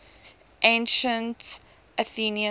ancient athenians